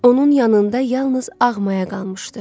Onun yanında yalnız ağ maya qalmışdı.